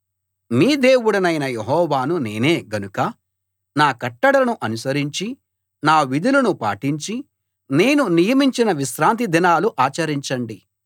మీ దేవుడనైన యెహోవాను నేనే గనుక నా కట్టడలను అనుసరించి నా విధులను పాటించి నేను నియమించిన విశ్రాంతి దినాలు ఆచరించండి